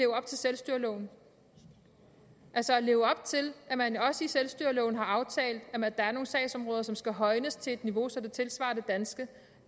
op til selvstyreloven altså at leve op til at man også i selvstyreloven har aftalt at der er nogle sagsområder som skal højnes til et niveau så det tilsvarer det danske